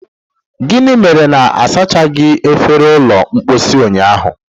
gịnị mere na-asachaghị efere ụlọ mposi ụnyaahụ?